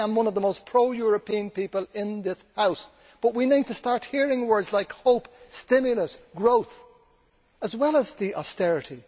I am one of the most pro European people in this House, but we need to start hearing words like hope, stimulus and growth as well as austerity.